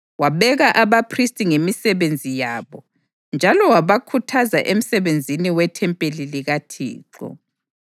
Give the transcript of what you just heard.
Wabeka abaphristi ngemisebenzi yabo njalo wabakhuthaza emsebenzini wethempeli likaThixo.